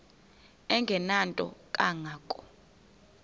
engenanto kanga ko